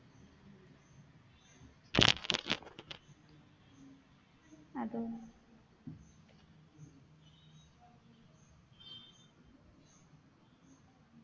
അതും